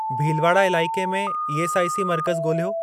भीलवाड़ा इलाइके में ईएसआईसी मर्कज़ ॻोल्हियो।